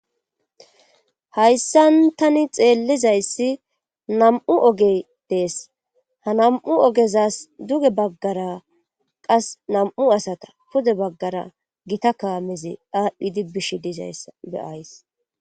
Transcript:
Hayssan tani xeellizayssi nam7u oge dees ha nam7u ogezas duge baggara qas nam7u asata pude baggara gita kaamezi daadhdhidi bish dizaysssa beyays.